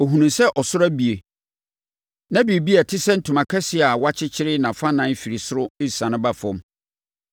Ɔhunuu sɛ ɔsoro abue, na biribi a ɛte sɛ ntoma kɛseɛ a wɔakyekyere nʼafannan firi ɔsoro resiane ba fam.